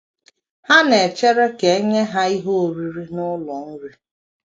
Ha na - echere ka e nye ha ihe oriri n’ụlọ nri.